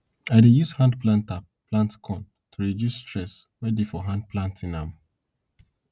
i dey use hand held planter plant corn to reduce stress wey dey for hand planting am